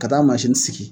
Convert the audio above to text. Ka taa sigi